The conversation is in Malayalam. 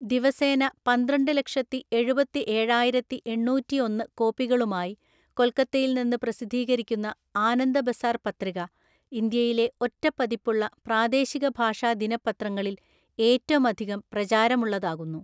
ദിവസേന പന്ത്രണ്ട്ലക്ഷത്തിഎഴുപത്തിഏഴായിരത്തിഎണ്ണൂറ്റിഒന്ന് കോപ്പികളുമായി കൊൽക്കത്തയിൽനിന്ന് പ്രസിദ്ധീകരിക്കുന്ന ആനന്ദ ബസാർ പത്രിക, ഇന്ത്യയിലെ ഒറ്റപ്പതിപ്പുള്ള പ്രാദേശികഭാഷാദിനപ്പത്രങ്ങളില്‍ ഏറ്റമധികം പ്രചാരമുള്ളതാകുന്നു.